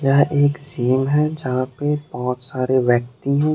यह एक जिम है जहां पे बहोत सारे व्यक्ति हैं।